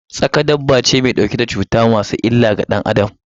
Tsaƙa dabbobi ne ma su ɗauke da cuttutuka masu illar ga danAdam.